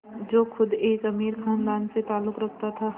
जो ख़ुद एक अमीर ख़ानदान से ताल्लुक़ रखता था